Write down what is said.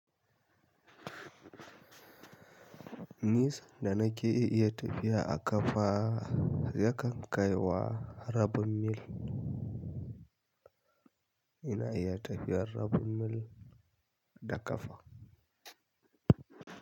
Nisan da na ke iya tafiya a ƙafa yakan kai wa rabin mil. Ina iya tafiyar rabin mil da ƙafa.